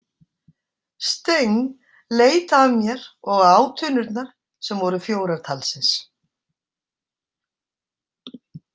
Steng leit af mér og á tunnurnar, sem voru fjórar talsins.